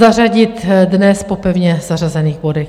Zařadit dnes po pevně zařazených bodech.